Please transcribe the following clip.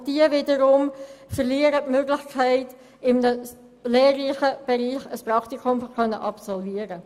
Und diese verlieren wiederum die Möglichkeit, in einem lehrreichen Bereich ein Praktikum zu absolvieren.